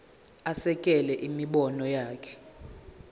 asekele imibono yakhe